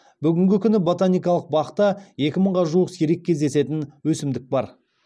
бүгінгі күні ботаникалық бақта екі мыңға жуық сирек кездесетін өсімдік бар